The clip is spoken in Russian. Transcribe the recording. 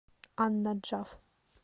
ан наджаф